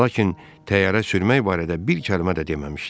Lakin təyyarə sürmək barədə bir kəlmə də deməmişdi.